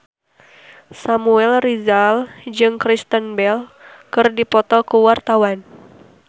Samuel Rizal jeung Kristen Bell keur dipoto ku wartawan